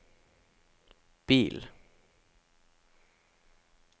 bil